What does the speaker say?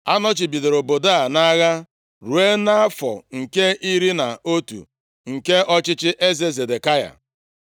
Anọchibidoro obodo a nʼagha ruo nʼafọ nke iri na otu nke ọchịchị eze Zedekaya.